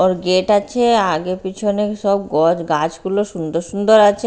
ওর gate আছে আগে পিছনে সব গোছ গাছগুলো সুন্দর সুন্দর আছে।